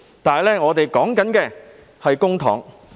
然而，我們談的是公帑。